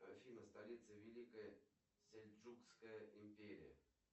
афина столица великая сельджукская империя